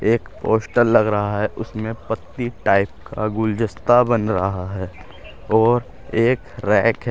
एक पोस्टर लग रहा है उसमे पत्ती टाइप का गुलदस्ता बन रहा है और एक रैक है।